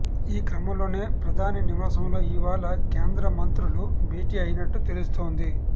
ఈ క్రమంలోనే ప్రధాని నివాసంలో ఇవాళ కేంద్ర మంత్రులు భేటీ అయినట్టు తెలుస్తోంది